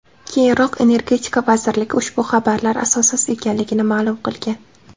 Keyinroq Energetika vazirligi ushbu xabarlar asossiz ekanligini ma’lum qilgan .